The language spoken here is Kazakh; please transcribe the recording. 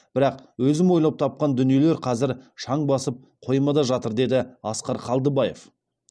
бірақ өзім ойлап тапқан дүниелер қазір шаң басып қоймада жатыр деді асқар қалдыбаев